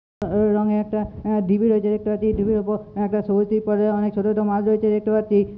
র- রঙের একটা অ্যাঁ ঢিপি রয়েছে দেখতে পাচ্ছি ঢিপির ওপর একটা সবুজ তিরপলে অনেক ছোট ছোট মাছ রয়েছে দেখতে পাচ্ছি।